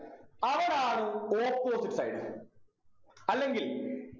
അവനാണ് opposite sides അല്ലെങ്കിൽ